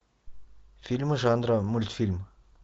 фильмы жанра мультфильм